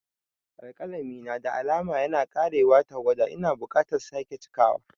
Alƙalami na da alama yana ƙarewar tawada - Ina buƙatar sake cikawa.